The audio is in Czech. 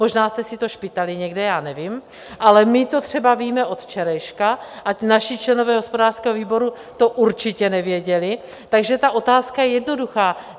Možná jste si to špitali někde, já nevím, ale my to třeba víme od včerejška a naši členové hospodářského výboru to určitě nevěděli, takže ta otázka je jednoduchá.